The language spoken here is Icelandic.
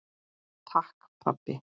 Takk, pabbi.